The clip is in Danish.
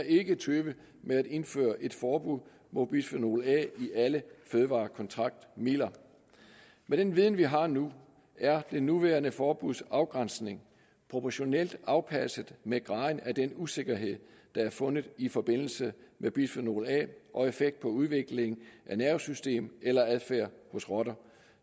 ikke vil tøve med at indføre et forbud mod bisfenol a i alle fødevarekontaktmidler med den viden vi har nu er det nuværende forbuds afgrænsning proportionalt afpasset med graden af den usikkerhed der er fundet i forbindelse med bisfenol a og effekt på udvikling af nervesystem eller adfærd hos rotter